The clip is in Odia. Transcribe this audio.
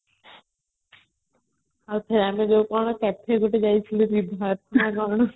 ଆମେ ଯେତେବେଳେ cafe ଗୋଟେ ଯାଇଥିଲୁ କଣ